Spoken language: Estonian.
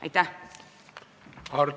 Aitäh!